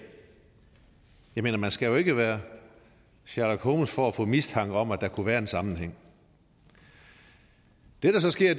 jeg mener man skal jo ikke være sherlock holmes for at få mistanke om at der kunne være en sammenhæng det der så sker